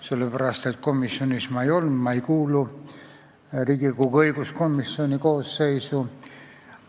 Komisjoni istungil ma ei olnud, ma ei kuulu Riigikogu õiguskomisjoni koosseisu.